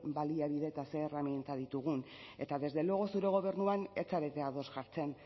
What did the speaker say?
baliabide eta zer erraminta ditugun eta desde luego zure gobernuan ez zarete ados jartzen